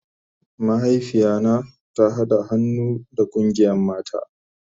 Mahaifiya na ta hada han'nu da kungiyan mata.